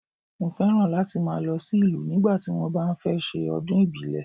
Mọ fẹ́ràn láti ma lọ sí ìlú nígbà tí wọn bá fẹ́ ṣe ọdún ìbílẹ̀.